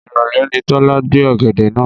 Ìrọ̀lẹ́ ni Tọ́lá gbé ọ̀gẹ̀dẹ̀ náà.